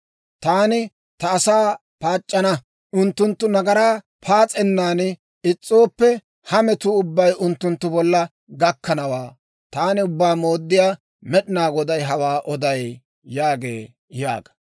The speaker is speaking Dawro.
Taani ta asaa paac'c'ana; unttunttu nagaraa paas'ennan is's'ooppe, ha metuu ubbay unttunttu bolla gakkanawaa. Taani Ubbaa Mooddiyaa Med'inaa Goday hawaa oday yaagee yaaga.